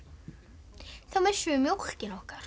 þá missum við mjólkina okkar